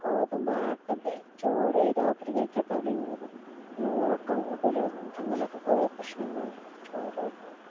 ഗോതമ്പ് ആട്ടയല്ലേ ചോറ് രാത്രി കഴിച്ച തടികൂടും പിന്നെ ഉറക്കം കൂടുതലാകും അങ്ങനെയൊക്കെ കുറേ പ്രശ്നങ്ങൾ ഉണ്ട് ചോറ് തിന്നാല്